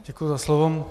Děkuji za slovo.